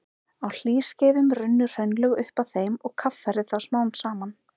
Á hlýskeiðum runnu hraunlög upp að þeim og kaffærðu þá smám saman.